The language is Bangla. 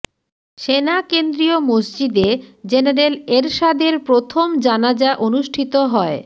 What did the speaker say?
সেনা কেন্দ্রীয় মসজিদে জেনারেল এরশাদের প্রথম জানাজা অনুষ্ঠিত হয়